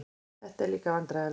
Þetta var líka vandræðalegt.